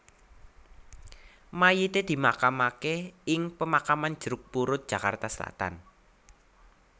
Mayite dimakamake ing Pemakaman Jeruk Purut Jakarta Selatan